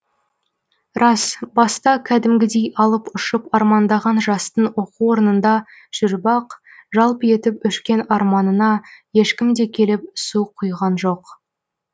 рас баста кәдімгідей алып ұшып армандаған жастың оқу орнында жүріп ақ жалп етіп өшкен арманына ешкім де келіп су құйған жоқ